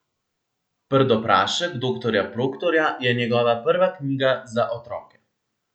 Prdoprašek doktorja Proktorja je njegova prva knjiga za otroke.